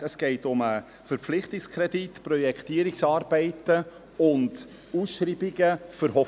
Es geht um den Verpflichtungskredit für Projektierungsarbeiten und Ausschreibungen für Hofwil.